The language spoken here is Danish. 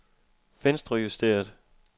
venstrejusteret